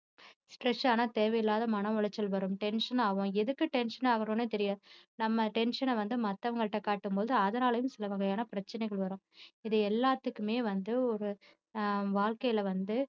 stress ஆனா தேவையில்லாத மன உளைச்சல் வரும் tension ஆகும் எதுக்கு tension ஆகுறோம்னே தெரியாது நம்ம tension அ வந்து மத்தவங்ககிட்ட காட்டும் போது அதனாலேயும் சில வகையான பிரச்சனைகள் வரும் இது எல்லாத்துக்குமே வந்து ஒரு ஆஹ் வாழ்க்கையில வந்து